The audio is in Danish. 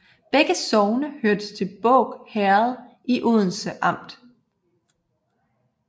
Begge sogne hørte til Båg Herred i Odense Amt